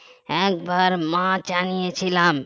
একবার মাছ আনিয়েছিলাম